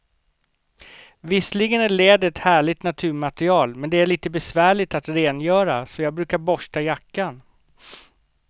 Visserligen är läder ett härligt naturmaterial, men det är lite besvärligt att rengöra, så jag brukar borsta jackan.